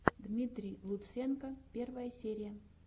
дмитрий лутсенко первая серия